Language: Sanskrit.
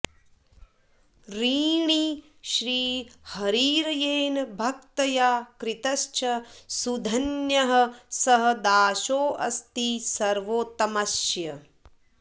ऋणी श्रीहरिर्येन भक्त्या कृतश्च सुधन्यः स दासोऽस्ति सर्वोत्तमस्य